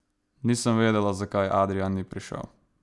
Nisem vedela, zakaj Adrijan ni prišel.